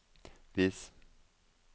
vis